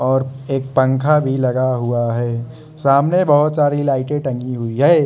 और एक पंखा भी लगा हुआ है सामने बहोत सारी लाइट टंगी हुई है।